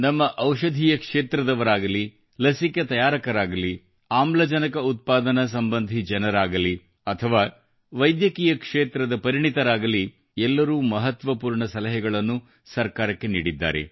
ನಮ್ಮ ಔಷಧೀಯ ಕ್ಷೇತ್ರದವರಾಗಲಿ ಲಸಿಕೆ ತಯಾರಕರಾಗಲಿ ಆಮ್ಲಜನಕ ಉತ್ಪಾದನಾ ಸಂಬಂಧಿ ಜನರಾಗಲಿ ಅಥವಾ ವೈದ್ಯಕೀಯ ಕ್ಷೇತ್ರದ ಪರಿಣಿತರಾಗಲಿ ಎಲ್ಲರೂ ಮಹತ್ವಪೂರ್ಣ ಸಲಹೆಗಳನ್ನು ಸರ್ಕಾರಕ್ಕೆ ನೀಡಿದ್ದಾರೆ